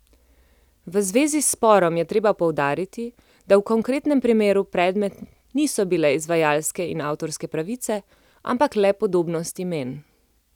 V zvezi s sporom je treba poudariti, da v konkretnem primeru predmet niso bile izvajalske in avtorske pravice, ampak le podobnost imen.